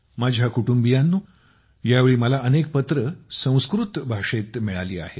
माझ्या कुटुंबियांनो यावेळी मला अनेक पत्रे संस्कृत भाषेतील मिळाली आहेत